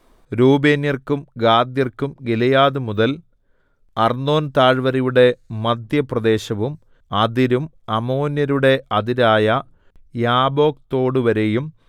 രൂബേന്യർക്കും ഗാദ്യർക്കും ഗിലെയാദ് മുതൽ അർന്നോൻതാഴ്വരയുടെ മദ്ധ്യപ്രദേശവും അതിരും അമ്മോന്യരുടെ അതിരായ യാബ്ബോക്ക്തോടുവരെയും